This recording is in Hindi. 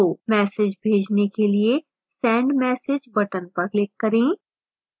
message भेजने के लिए send message button पर click करें